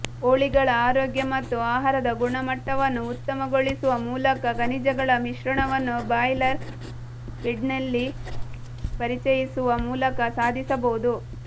ಕೋಳಿಗಳ ಆರೋಗ್ಯ ಮತ್ತು ಆಹಾರದ ಗುಣಮಟ್ಟವನ್ನು ಉತ್ತಮಗೊಳಿಸುವ ಮೂಲಕ ಖನಿಜಗಳ ಮಿಶ್ರಣವನ್ನು ಬ್ರಾಯ್ಲರ್ ಫೀಡ್ನಲ್ಲಿ ಪರಿಚಯಿಸುವ ಮೂಲಕ ಸಾಧಿಸಬಹುದು